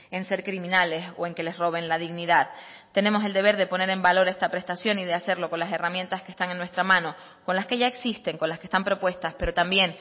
en ser criminales o en que les roben la dignidad tenemos el deber de poner en valor esta prestación y de hacerlo con las herramientas que están en nuestra mano con las que ya existen con las que están propuestas pero también